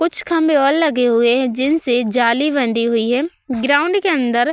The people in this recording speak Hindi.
कुछ खंबे और लगे हुए हैं जिनसे जाली बंधी हुई है। ग्राउन्ड के अंदर --